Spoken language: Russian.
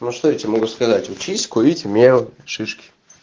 ну что я тебе могу сказать учись курить мел шишки